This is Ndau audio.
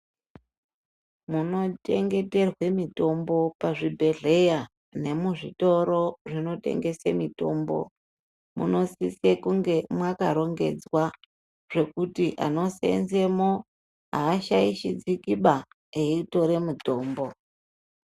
Panochengeterwe mitombo pazvibhedhera nemuzvitoro zvinotengese mitombo munosise kunge mwakarongedzwa zvekuti vanoseenzemwo aashaishidzikiba eitora mitombo.